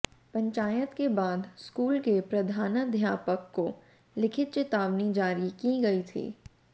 पंचायत के बाद स्कूल के प्रधानाध्यापक को लिखित चेतावनी जारी की गई थी